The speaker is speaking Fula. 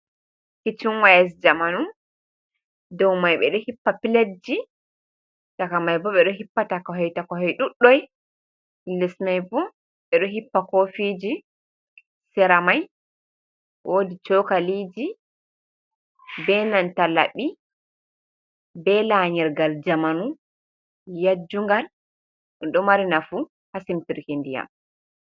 "Kichn waya" je jamanu dou mai ɓeɗo hippa piletji chaka mai bo be do hippa ta kohoi takohoi ɗuɗɗi les mai bo ɓeɗo hippa kofiji sera mai wodi chokaliji benanta laɓi be lanyirgal jamanu yajjungal ɗum mari nafu ha simtirki ndiyam.